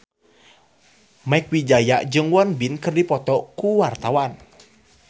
Mieke Wijaya jeung Won Bin keur dipoto ku wartawan